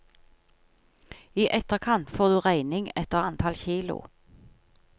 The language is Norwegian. I etterkant får du regning etter antall kilo.